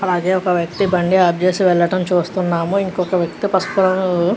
అలాగే ఒక వ్యక్తి బండి ఆఫ్ చేసి వెళ్లడం చుస్తునాం ఇంకొక వ్యక్తి --